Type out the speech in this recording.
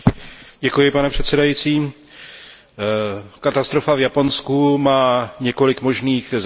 Pane předsedající, katastrofa v Japonsku má několik možných závěrů.